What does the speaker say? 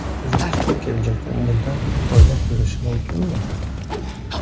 O‘zbekiston kelajakda bundan foyda ko‘rishi mumkinmi?